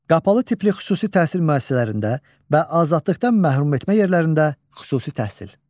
Qapalı tipli xüsusi təhsil müəssisələrində və azadlıqdan məhrum etmə yerlərində xüsusi təhsil.